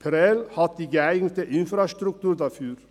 Prêles hat die geeignete Infrastruktur dafür.